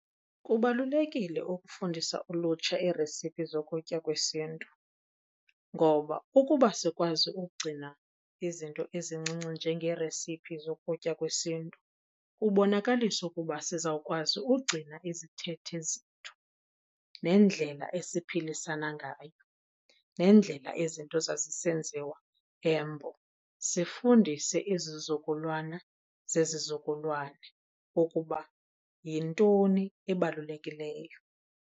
Kubalulekile ukufundisa ulutsha iiresiphi zokutya kwesiNtu, ngoba ukuba asikwazi ugcina izinto ezincinci njengeeresiphi zokutya kwesiNtu kubonakalisa ukuba sizawukwazi ugcina izithethe zethu nendlela esiphilisana ngayo, nendlela izinto zazisenziwa eMbo. Sifundise izizukulwana zezizukulwana ukuba yintoni ebalulekileyo.